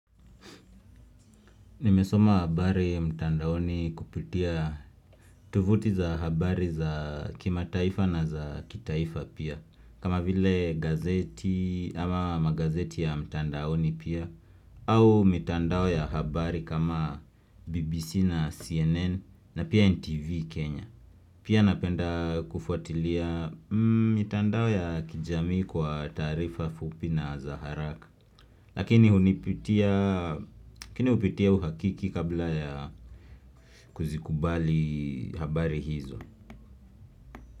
Nimesoma habari mtandaoni kupitia tuvuti za habari za kimataifa na za kitaifa pia kama vile gazeti ama magazeti ya mtandaoni pia au mitandao ya habari kama BBC na CNN na pia NTV Kenya Pia napenda kufuatilia mitandao ya kijamii kwa taarifa fupi na za haraka Lakini hupitia uhakiki kabla ya kuzikubali habari hizo.